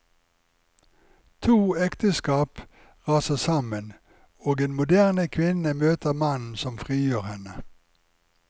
To ekteskap raser sammen, og en moderne kvinne møter mannen som frigjør henne.